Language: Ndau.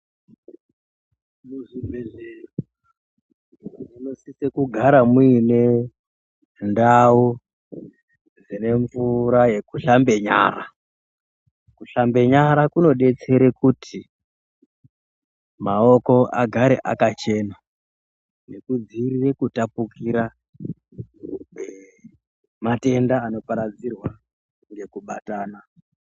Muzvibhedhlera munosisa kugara muine dzinemvura yekushambe nyara, kushambe nyara kunodetserwe kuti maoko agare akachena nekudziirire kutapukira kwematenda anoparadzirwa nekubatana.